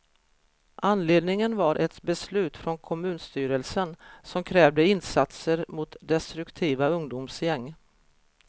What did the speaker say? Anledningen var ett beslut från kommunstyrelsen, som krävde insatser mot destruktiva ungdomsgäng.